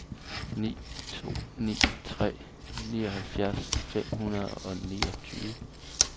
ni to ni tre nioghalvfjerds fem hundrede og niogtyve